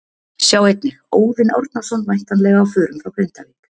Sjá einnig: Óðinn Árnason væntanlega á förum frá Grindavík